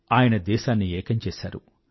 ఆయన దేశాన్ని ఏకం చేసారు